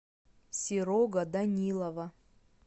серого данилова